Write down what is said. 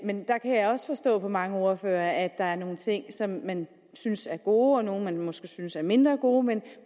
men deraf kan jeg også forstå på mange ordførere at der er nogle ting som man synes er gode og nogle man måske synes er mindre gode men